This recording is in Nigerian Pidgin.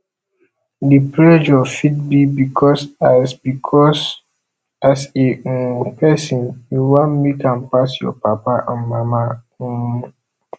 di pressure fit be because as be because as a um person you wan make am pass your papa and mama um